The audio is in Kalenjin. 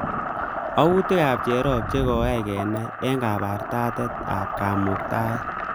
Autikab cherop che koay kenai eng kabartatet ab kamuktaet